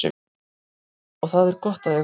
Og það er gott að eiga val.